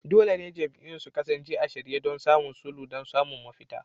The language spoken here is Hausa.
Dole ne jam'iyyun su kasance a shirye don yin sulhu don samun mafita.